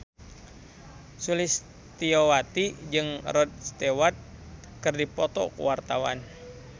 Sulistyowati jeung Rod Stewart keur dipoto ku wartawan